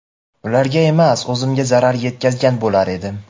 ularga emas o‘zimga zarar yetkazgan bo‘lar edim.